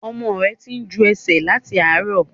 Ọmọ ẹ tí ń jú ẹsẹ̀ láti àárọ̀.